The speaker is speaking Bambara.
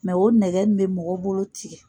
o nɛgɛ in bɛ mɔgɔ bolo tigɛ.